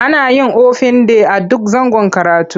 Ana yin ofin day a duk zangon karatu.